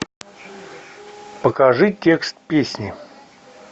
покажи текст песни